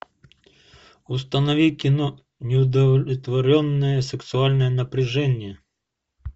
установи кино неудовлетворенное сексуальное напряжение